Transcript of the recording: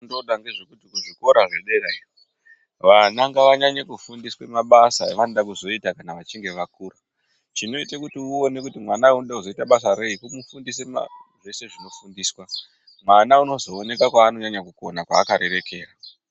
Ngoda ngezvekuti kuzvikora zvederayo vana ngavanyanye kufundiswa mabasa avanode kuzoita kana achinge akura chinoite kuti uone kuti mwana uyu unode kuzoite basa rei kumufundise maa zveshe zvinofundiswa mwana unozoonekwa kwaanonyanya kukona kwaakarerekera.